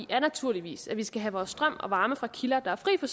er naturligvis at vi skal have vores strøm og varme fra kilder der er fri for